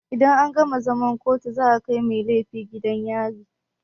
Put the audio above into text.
Idan an gama zaman kotu za a kai mai laifi gidan yari.